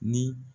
Ni